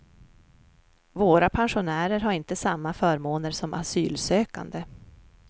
Våra pensionärer har inte samma förmåner som asylsökande.